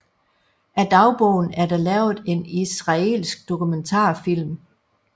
Af dagbogen er der lavet en israelsk dokumentarfilm